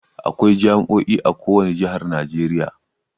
Akwai jami"o'i a ko wani jihar Najeriya.